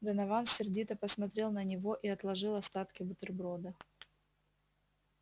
донован сердито посмотрел на него и отложил остатки бутерброда